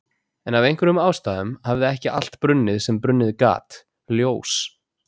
En af einhverjum ástæðum hafði ekki allt brunnið sem brunnið gat, ljós